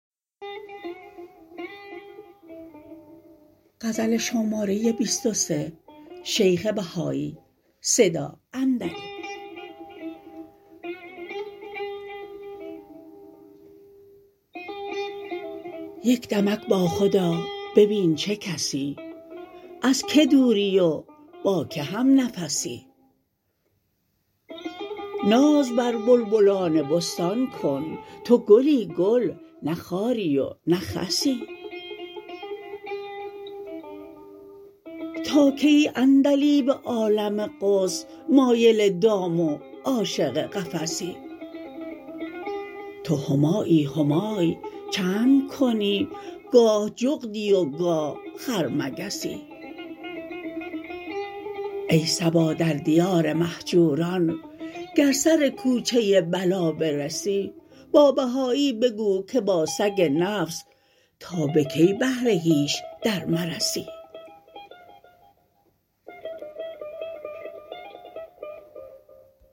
یک دمک با خودآ ببین چه کسی از که دوری و با که هم نفسی ناز بر بلبلان بستان کن تو گلی گل نه خاری و نه خسی تا کی ای عندلیب عالم قدس مایل دام و عاشق قفسی تو همایی همای چند کنی گاه جغدی و گاه خرمگسی ای صبا در دیار مهجوران گر سر کوچه بلا برسی با بهایی بگو که با سگ نفس تا به کی بهر هیچ در مرسی